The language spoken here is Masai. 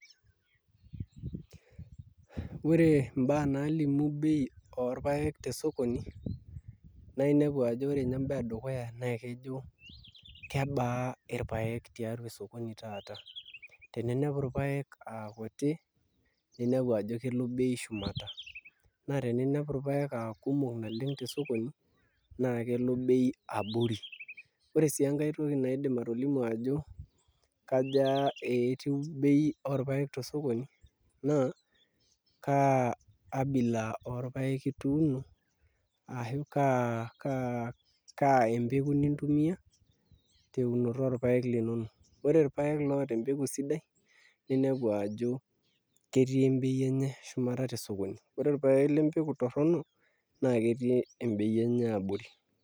Ore imbaa naalimu bei orpaek tesokoni naa inepu ajo ore ninye enedukuya naa kaijo kebaa irpaek tesokoni taata teninepu irpaek aa kuti naa inepu ajo kelo bei shumata ore teninepu irpaek aa kumok naleng' tesokoni naa kelo bei abori ore sii enkae toki naidim atolimu ajo kaja etiu bei orpaek tesokoni naa kaa abila orpaek ituuno ashu kaa empeku nintumiaa teunoto orpaek linonok ore irpaek loota empeku siidai ninepu ajo ketii embei enye shumata tesokoni ore irpaek lempeku torrono naa ketii embei enye abori.